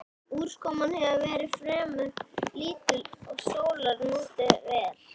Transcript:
Úrkoman hefur verið fremur lítil og sólar notið vel.